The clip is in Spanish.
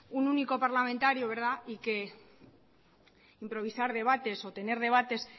un único parlamentario y que improvisar debates o tener debates